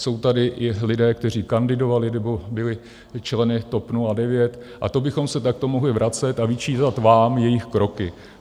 Jsou tady i lidé, kteří kandidovali nebo byli členy TOP 09, a to bychom se takto mohli vracet a vyčítat vám jejich kroky.